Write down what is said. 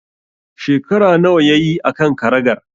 Shekara nawa yayi a kan karagar?